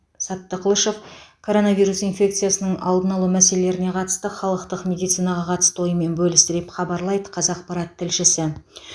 саттықлышев коронавирус инфекциясының алдын алу мәселелеріне қатысты халықтық медицинаға қатысты ойымен бөлісті деп хабарлайды қазақпарат тілшісі